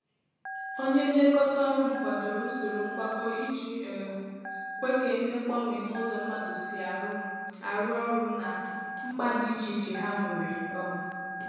Onyé nlekọta ọrụ m kwàdòrò usoro ngwakọ iji um kwe ka e mee mgbanwe n’ụzọ mmadụ si arụ arụ ọrụ na mkpa dị iche iche ha nwere um